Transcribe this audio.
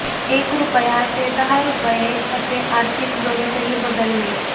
एक रुपया ते दहा रुपये असे आर्थिक गणितही बदलले